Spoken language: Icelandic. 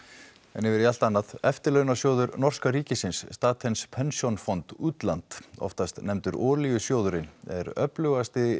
en yfir í allt annað eftirlaunasjóður norska ríkisins Statens pensjonsfond Utland oftast nefndur olíusjóðurinn er öflugasti